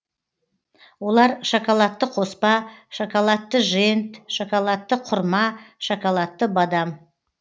олар шоколадты қоспа шоколадты жент шоколадты құрма шоколадты бадам